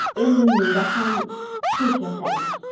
endi menda ham shu kasallik.